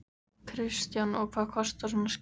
Kristján: Og hvað kostar svona skjal?